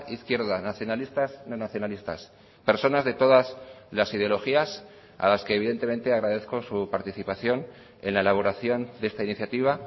izquierda nacionalistas no nacionalistas personas de todas las ideologías a las que evidentemente agradezco su participación en la elaboración de esta iniciativa